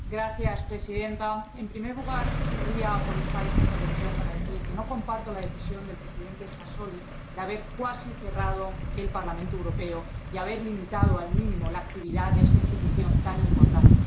Señora presidenta, en primer lugar, querría aprovechar esta intervención para decir que no comparto la decisión del presidente Sassoli de haber cuasi cerrado el Parlamento Europeo y haber limitado al mínimo la actividad de esta institución tan importante.